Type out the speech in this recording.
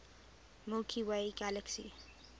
milky way galaxy